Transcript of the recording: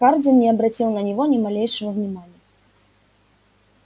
хардин не обратил на него ни малейшего внимания